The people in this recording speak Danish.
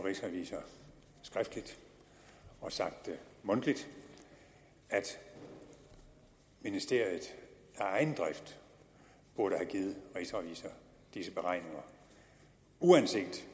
rigsrevisor skriftligt og sagt mundtligt at ministeriet af egen drift burde have givet rigsrevisor disse beregninger uanset